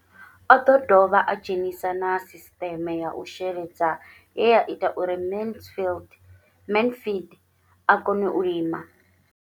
O ḓo dovha a dzhenisa na sisiṱeme ya u sheledza ye ya ita uri Mansfied a kone u lima.